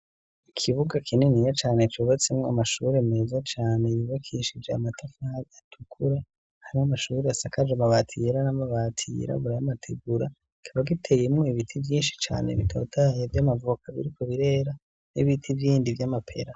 Ikibuga kininiya cane cubatsemwo amashuri meza cane yibakishije amatafa atukura, hari amashuri asakaje amabati yera n'amabati yirabura y'amategura, kikaba giteyemo ibiti vyinshi cane bitotaye vy'amavuka biriko birera, n'ibiti bindi vy'amapera.